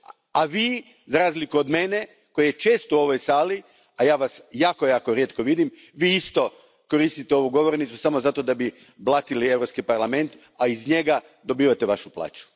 A vi, za razliku od mene, koji sam često u ovoj sali, a ja vas jako, jako rijetko vidim, vi isto koristite ovu govornicu samo zato da biste blatili Europski parlament, a iz njega dobivate svoju plaću.